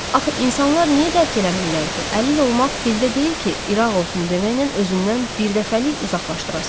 Axı insanlar niyə dərk eləmirlər ki, əlil olmaq dildə deyil ki, İraq olsun deməklə özündən birdəfəlik uzaqlaşdırasan.